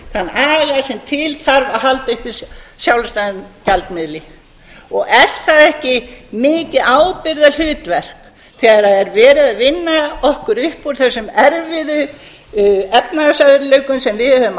þann aga sem til þarf að halda uppi sjálfstæðum gjaldmiðli er það ekki mikið ábyrgðarhlutverk þegar er verið að vinna okkur upp úr þessum erfiðu efnahagsörðugleikum sem við höfum